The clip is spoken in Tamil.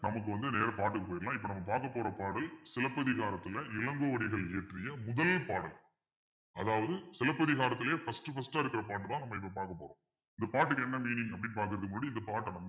நமக்கு வந்து நேரா பாட்டுக்கு போயிடலாம் இப்ப நம்ம பார்க்கப் போற பாடல் சிலப்பதிகாரத்துல இளங்கோவடிகள் இயற்றிய முதல் பாடல் அதாவது சிலப்பதிகாரத்திலேயே first first ஆ இருக்கிற பாட்டுதான் நம்ம இப்போ பார்க்க போறோம் இந்த பாட்டுக்கு என்ன meaning அப்பிடின்னு பாக்குறதுக்கு முன்னாடி இந்த பாட்டை